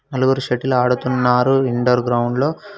నలుగురు షటిల్ ఆడుతున్నారు indoor ground లో.